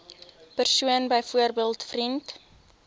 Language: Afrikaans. persoon byvoorbeeld vriend